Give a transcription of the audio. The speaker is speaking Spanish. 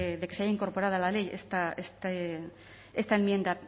de que se haya incorporado a la ley esta enmienda